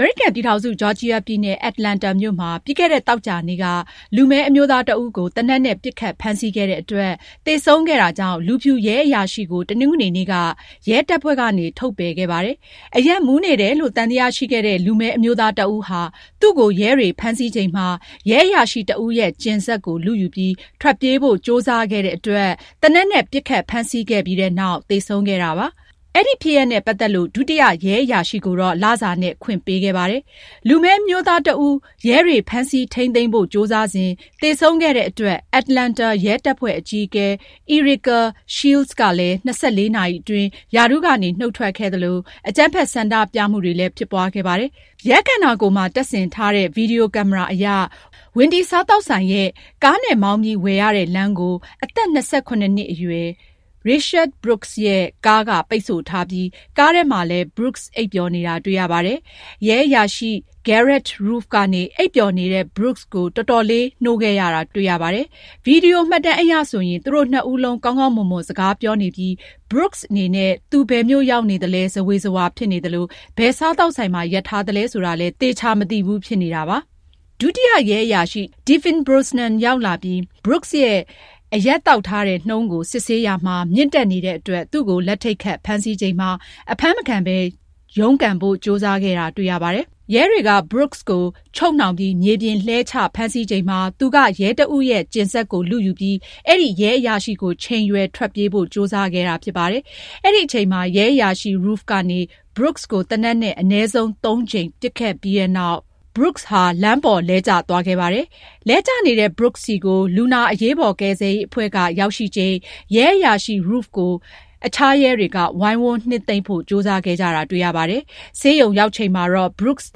အမေရိကန်ပြည်ထောင်စု ဂျော်ဂျီယာပြည်နယ် Atlanta မြို့မှာ ပြီးခဲ့တဲ့ သောကြာနေ့က လူမည်းအမျိုးသားတဦးကို သေနတ်နဲ့ ပစ်ခတ်ဖမ်းဆီးခဲ့တဲ့အတွက် သေဆုံးခဲ့တာကြောင့် လူဖြူရဲအရာရှိကို တနင်္ဂနွေနေ့က ရဲတပ်ဖွဲ့ကနေ ထုတ်ပယ်ခဲ့ပါတယ်။ အရက်မူးနေတယ်လို့ သံသယရှိခဲ့တဲ့ လူမည်းအမျိုးသားတဦးဟာ သူ့ကို ရဲတွေဖမ်းဆီးချိန်မှာ ရဲအရာရှိတဦးရဲ့ ကျဉ်စက်ကို လုယူပြီး ထွက်ပြေးဖို့ ကြိုးစားခဲ့တဲ့အတွက် သေနတ်နဲ့ ပစ်ခတ်ဖမ်းဆီးခဲ့ပြီးနောက် သေဆုံးခဲ့တာ ဖြစ်ပါတယ်။ အဲဒီဖြစ်ရပ်နဲ့ ပတ်သက်လို့ ဒုတိယရဲအရာရှိကိုတော့ လစာနဲ့ ခွင့်ပေးခဲ့ပါတယ်။ လူမည်းအမျိုးသားတဦး ရဲတွေ ဖမ်းဆီးထိန်းသိမ်းဖို့ ကြိုးစားစဉ် သေဆုံးခဲ့တဲ့အတွက် Atlanta ရဲတပ်ဖွဲ့ အကြီးအကဲ Erika Shields ကလည်း ၂၄ နာရီအတွင်း ရာထူးကနေ နုတ်ထွက်ခဲ့သလို အကြမ်းဖက် ဆန္ဒပြမှုတွေလည်း ဖြစ်ပွားခဲ့ပါတယ်။ ရဲခန္ဓာကိုယ်မှာ တပ်ဆင်ထားတဲ့ ဗွီဒီယိုကင်မရာအရ Wendy စားသောက်ဆိုင်ရဲ့ ကားနဲ့မောင်းပြီးဝယ်ရတဲ့ လမ်းကို အသက် ၂၇ နှစ်အရွယ် Rayshard Brooks ရဲ့ ကားက ပိတ်ဆို့ထားပြီး ကားထဲမှာလည်း Brooks အိပ်ပျော်နေတာ တွေ့ရပါတယ်။ ရဲအရာရှိ Garrett Rolfe က အိပ်ပျော်နေတဲ့ Brooks ကို အချိန်ယူပြီး နှိုးခဲ့ရတာ တွေ့ရပါတယ်။ ဗွီဒီယိုမှတ်တမ်းအရဆိုရင် သူတို့နှစ်ဦးလုံး ကောင်းကောင်းမွန်မွန် စကားပြောနေပြီး Brooks အနေနဲ့ သူဘယ်မြို့ရောက်နေသလဲ ဇဝေဇဝါ ဖြစ်နေသလို ဘယ်စားသောက်ဆိုင်မှာ ရပ်ထားသလဲ ဆိုတာလည်း သေချာမသိဘူး ဖြစ်နေတာပါ။ ဒုတိယရဲအရာရှိ Devin Brosnan ရောက်လာပြီးနောက် Brooks ရဲ့ အရက်သောက်ထားတဲ့နှုန်းကို စစ်ဆေးရာမှာ မြင့်တက်နေတဲ့အတွက် သူ့ကို လက်ထိပ်ခတ် ဖမ်းဆီးချိန်မှာ အဖမ်းမခံဘဲ ရုန်းကန်ဖို့ ကြိုးစားခဲ့တာ တွေ့ရပါတယ်။ ရဲတွေက Brooks ကို ချုပ်နှောင်ပြီး မြေပြင်လှဲချဖမ်းဆီးချိန်မှာ သူက ရဲတဦးရဲ့ ကျဉ်စက်ကို လုယူပြီး အဲဒီရဲအရာရှိကို ချိန်ရွယ် ထွက်ပြေးဖို့ ကြိုးစားခဲ့တာ ဖြစ်ပါတယ်။ အဲဒီအချိန်မှာ ရဲအရာရှိ Rolfe ကနေ Brooks ကို သေနတ်နဲ့ အနည်းဆုံး သုံးကြိမ် ပစ်ခဲ့ပြီးနောက် Brooks ဟာ လမ်းပေါ် လမ်းကျသွားခဲ့ပါတယ်။ လဲကျနေတဲ့ Brooks ဆီကို လူနာ အရေးပေါ်ကယ်ဆယ်ရေးအဖွဲ့ ရောက်ရှိချိန် ရဲအရာရှိ Rolfe ကို အခြားရဲတွေက ဝိုင်းဝန်းနှစ်သိမ့်ဖို့ ကြိုးစားခဲ့ကြတာကို တွေ့ရပါတယ်။ ဆေးရုံရောက်ချိန်မှာတော့ Brooks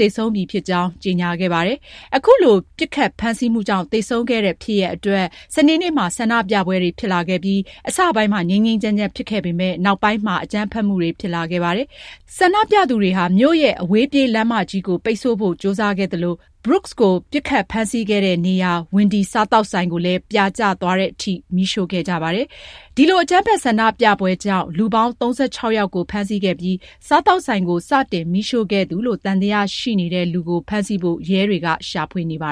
သေဆုံးပြီဖြစ်ကြောင်း ကြေညာခဲ့ပါတယ်။ အခုလို ပစ်ခတ်ဖမ်းဆီးမှုကြောင့် သေဆုံးခဲ့တဲ့ ဖြစ်ရပ်အတွက် စနေနေ့မှာ ဆန္ဒပြပွဲတွေ ဖြစ်လာခဲ့ပြီး အစပိုင်းမှာ ငြိမ်းငြိမ်းချမ်းချမ်း ဖြစ်ခဲ့ပေမယ့် နောက်ပိုင်းမှာ အကြမ်းဖက်မှုတွေ ဖြစ်လာခဲ့ပါတယ်။ ဆန္ဒပြသူတွေဟာ မြို့ရဲ့ အဝေးပြေးလမ်းမကြီးကို ပိတ်ဆို့ဖို့ ကြိုးစားခဲ့သလို Brooks ကို ပစ်ခတ်ဖမ်းဆီးခဲ့တဲ့နေရာ Wendy စားသောက်ဆိုင်ကိုလည်း ပြာကျသွားတဲ့အထိ မီးရှို့ခဲ့ကြပါတယ်။ ဒီလို အကြမ်းဖက် ဆန္ဒပြပွဲကြောင့် လူပေါင်း ၃၆ ယောက်ကို ဖမ်းဆီးခဲ့ပြီး စားသောက်ဆိုင်ကို စတင်မီးရှို့ခဲ့သူလို့ သံသယရှိနေတဲ့လူကို ဖမ်းဆီးဖို့ ရဲတွေက ရှာဖွေနေပါ